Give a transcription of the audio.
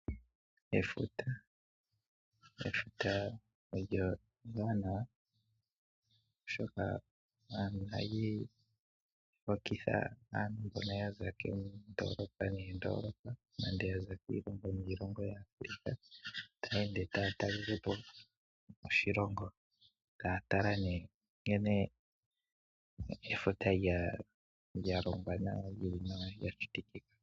Efuta, efuta olyo ewanawa oshoka ohali hokitha aantu mboka yaza kokndolopa noondolopa, nande yaza kiilongo niilongo taya ende taya talelepo oshilongo, taya tala ne nkene efuta lya longwa nawa, lili nawa, lya shitikika.